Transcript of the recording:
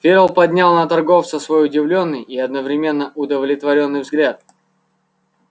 ферл поднял на торговца свой удивлённый и одновременно удовлетворённый взгляд